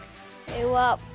eigum við að